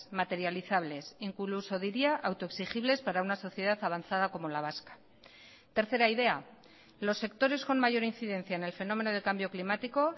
materializables incluso diría autoexigibles para una sociedad avanzada como la vasca tercera idea los sectores con mayor incidencia en el fenómeno de cambio climático